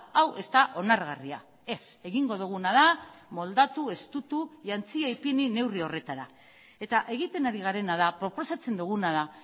hau ez da onargarria ez egingo duguna da moldatu estutu jantzia ipini neurri horretara eta egiten ari garena da proposatzen duguna da